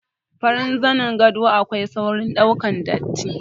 Farin zanin gado akwai saurin ɗaukar datti.